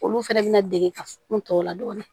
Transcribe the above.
Olu fɛnɛ bina dege ka f n tɔ tɔ la dɔɔni